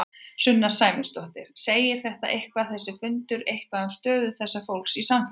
Sunna Sæmundsdóttir: Segir þetta eitthvað, þessi fundur eitthvað um stöðu þessa fólks í samfélaginu?